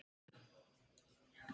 Það er nóg komið.